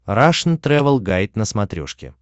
рашн тревел гайд на смотрешке